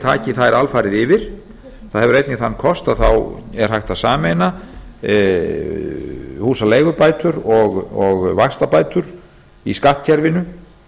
taki þær alfarið yfir það hefur einnig þann kost að þá er hægt að sameina húsaleigubætur og vaxtabætur í skattkerfinu